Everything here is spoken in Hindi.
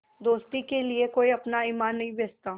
दोस्ती के लिए कोई अपना ईमान नहीं बेचता